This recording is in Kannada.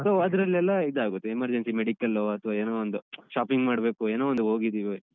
So ಅದ್ರಲ್ಲೆಲ್ಲ ಇದಾಗುತ್ತೆ emergency medical ಲೊ ಅಥ್ವ ಏನೋ ಒಂದು shopping ಮಾಡ್ಬೇಕು ಏನೋ ಒಂದು ಹೋಗಿದ್ದೀವಿ.